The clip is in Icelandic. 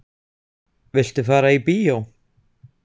Viltu fara í bíó?